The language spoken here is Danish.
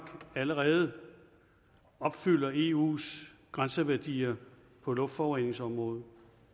allerede opfylder eus grænseværdier på luftforureningsområdet